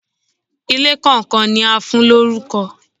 Ilé kàn kan ni a fún lórúkọ.